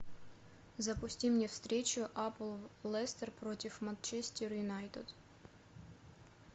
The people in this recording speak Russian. запусти мне встречу апл лестер против манчестер юнайтед